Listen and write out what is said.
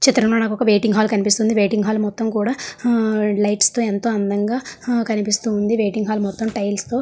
ఈ చిత్రం లో నాకు ఒక వెయిటింగ్ హాల్ కనిపిస్తుంది వెయిటింగ్ హాల్ మొత్తం కూడా హా లైట్స్ తో ఎంతో అందంగా హా కనిపిస్తుంది వెయిటింగ్ హాల్ టైల్స్ తో --